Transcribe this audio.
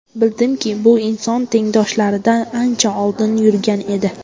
Bildimki, bu inson tengdoshlaridan ancha oldinda yurgan edi.